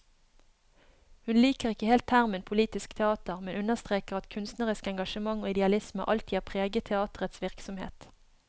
Hun liker ikke helt termen politisk teater, men understreker at kunstnerisk engasjement og idealisme alltid har preget teaterets virksomhet.